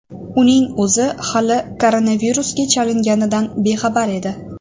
Uning o‘zi hali koronavirusga chalinganidan bexabar edi.